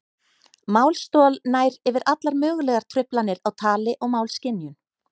Málstol nær yfir allar mögulegar truflanir á tali og málskynjun.